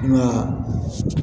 Nka